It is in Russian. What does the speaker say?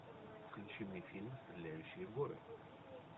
включи мне фильм стреляющие горы